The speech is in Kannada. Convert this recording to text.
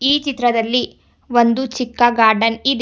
ಈ ಚಿತ್ರದಲ್ಲಿ ಒಂದು ಚಿಕ್ಕ ಗಾರ್ಡನ್ ಇದೆ.